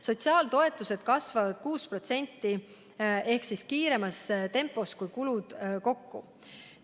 Sotsiaaltoetused kasvavad 6% ehk kiiremas tempos kui kulud kokku.